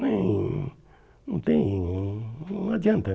tem... Não tem... Não adianta.